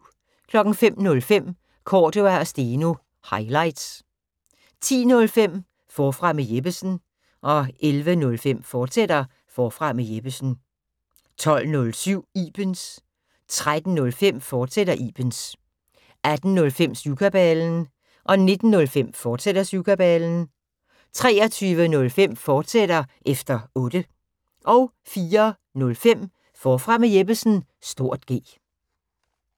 05:05: Cordua & Steno – highlights 10:05: Forfra med Jeppesen 11:05: Forfra med Jeppesen, fortsat 12:07: Ibens 13:05: Ibens, fortsat 18:05: Syvkabalen 19:05: Syvkabalen, fortsat 23:05: Efter Otte, fortsat 04:05: Forfra med Jeppesen (G)